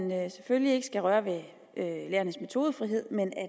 man selvfølgelig ikke skal røre ved lærernes metodefrihed men er